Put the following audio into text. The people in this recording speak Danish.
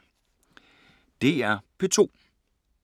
DR P2